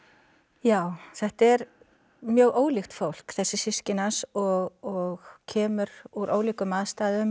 já þetta er mjög ólíkt fólk þessi systkini hans og kemur úr ólíkum aðstæðum